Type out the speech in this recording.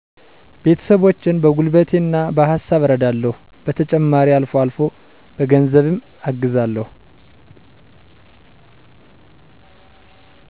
ቤተሰቦቸን በጉልበቴና በሀሳብ እረዳለሁ። በተጨማሪም አልፎ አልፎ በገንዘብ አግዛለሁ።